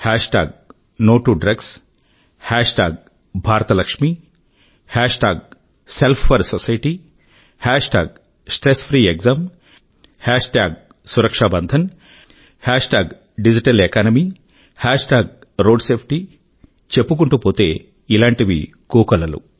హేష్ tag no to drugs no to drugs hashtag Bharat Lakshmi Bharat Ki Lakshmi hashtag self four society Self4Society hashtag stress free exam stress free exams hashtag Suraksha Bandhan Suraksha Bandhan hashtag digital economy digital economy hashtag road safety road safety చెప్పుకుంటూ పోతే ఇలాంటివి కోకొల్లలు